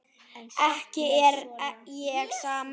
En samt með svona.